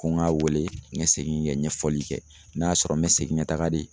Ko ŋ'a weele ŋɛ segin kɛ ɲɛfɔli kɛ n'a sɔrɔ n bɛ segin ŋa taga de